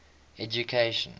education